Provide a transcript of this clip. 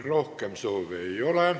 Rohkem kõnesoove ei ole.